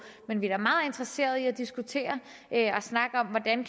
men vi er da meget interesseret i at diskutere og snakke om hvordan